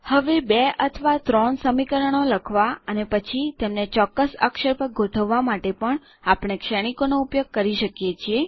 હવે બે અથવા ત્રણ સમીકરણો લખવા અને પછી તેમને ચોક્કસ અક્ષર પર ગોઠવવા માટે પણ આપણે શ્રેણીકો નો ઉપયોગ કરી શકીએ છીએ